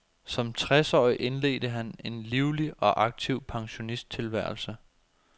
Som tres årig indledte han en livlig og aktiv pensionisttilværelse.